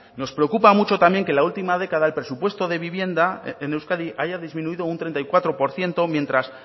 nos preocupa mucho también que la última década el presupuesto de vivienda en euskadi haya disminuido un treinta y cuatro por ciento mientras